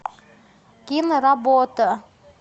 киноработа